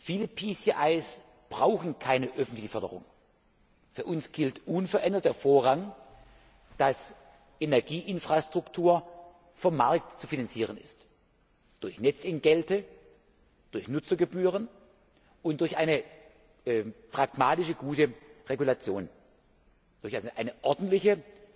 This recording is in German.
Viele PCIs brauchen keine öffentliche Förderung. Für uns gilt unverändert vorrangig, dass Energieinfrastruktur vom Markt zu finanzieren ist durch Netzentgelte, durch Nutzergebühren und durch eine pragmatische, gute Regulation, durch eine ordentliche